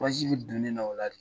bi don ne na o la de.